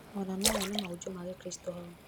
Ona nowone mahunjio ma gĩkristo hau